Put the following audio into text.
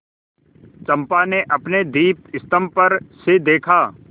चंपा ने अपने दीपस्तंभ पर से देखा